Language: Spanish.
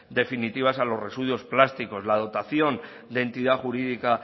definitivas a los residuos plásticos la dotación de entidad jurídica